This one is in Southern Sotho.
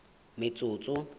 metsotso